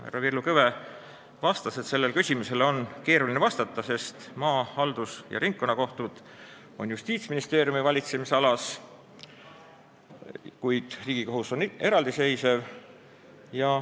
Härra Villu Kõve vastas, et sellele küsimusele on keeruline vastata, sest maa-, haldus- ja ringkonnakohtud on Justiitsministeeriumi valitsemisalas, kuid Riigikohus on eraldiseisev.